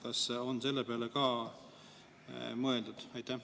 Kas on selle peale ka mõeldud?